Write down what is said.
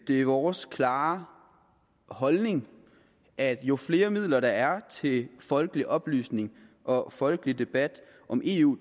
det er vores klare holdning at jo flere midler der er til folkelig oplysning og folkelig debat om eu